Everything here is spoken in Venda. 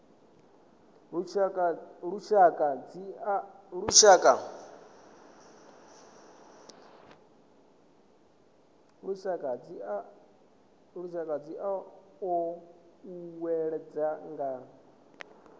lushaka dzi o uuwedzwa nga